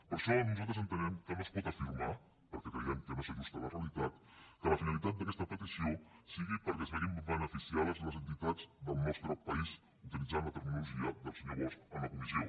per això nosaltres entenem que no es pot afirmar per·què creiem que no s’ajusta a la realitat que la finalitat d’aquesta petició sigui perquè es vegin beneficiades les entitats del nostre país utilitzant la terminologia del senyor bosch a la comissió